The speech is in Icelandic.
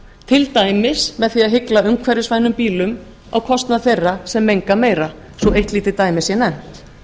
til dæmis með því að hygla umhverfisvænum bílum á kostnað þeirra sem menga meira svo eitt lítið dæmi sé nefnt